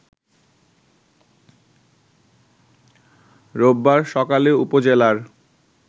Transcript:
রোববার সকালে উপজেলার